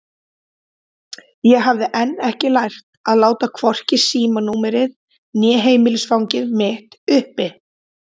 Ég hafði enn ekki lært að láta hvorki símanúmerið né heimilisfangið mitt uppi.